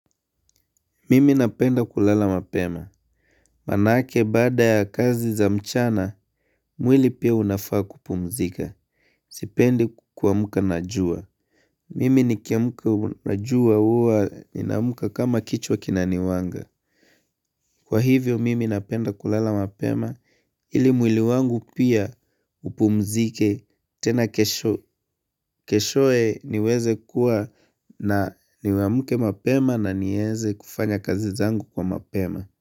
Mimi napenda kulala mapema. Manake bada ya kazi za mchana, mwili pia unafaa kupumzika. Sipendi kuamka na jua. Mimi nikiamka na jua huwa naamka kama kichwa kinaniwanga. Kwa hivyo, mimi napenda kulala mapema. Ili mwili wangu pia upumzike tena keshoye niweze kuwa na niwamke mapema na nieze kufanya kazi zangu kwa mapema.